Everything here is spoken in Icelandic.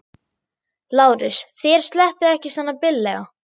LÁRUS: Þér sleppið ekki svona billega.